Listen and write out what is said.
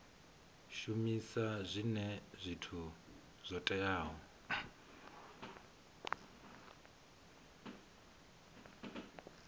shumisa zwinwe zwithu zwo teaho